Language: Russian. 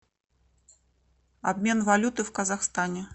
обмен валюты в казахстане